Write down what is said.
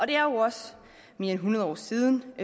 det er også mere end hundrede år siden og